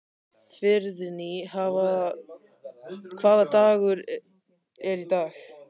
Friðný, hvaða dagur er í dag?